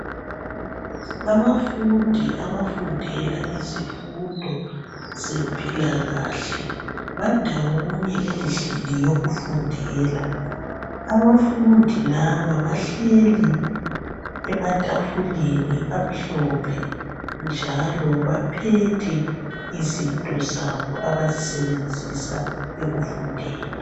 Abafundi abafundela izifundo zempilakahle bandawonye endlini yokufundela. Abafundi laba bahleli ematafuleni amhlophe njalo baphethe izinto zabo abazisebenzisa ekufundeni.